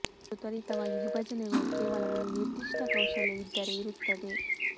ಮತ್ತು ತ್ವರಿತವಾಗಿ ವಿಭಜನೆಗಳು ಕೇವಲ ಒಂದು ನಿರ್ದಿಷ್ಟ ಕೌಶಲ್ಯ ಇದ್ದರೆ ಇರುತ್ತದೆ